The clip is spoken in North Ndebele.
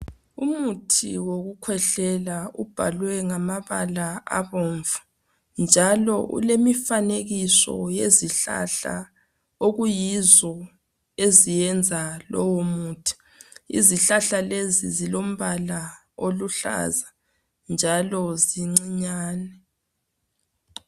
Umuthi wokukhwehlela ubhalwe ngamabala abomvu njalo ulemifanekiso yezihlahla okuyizo eziyenza lowo muthi. Izihlahla lezi zilombala oluhlaza njalo zincinyane.